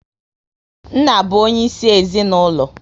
Nna bụ onye isi ezinaụlọ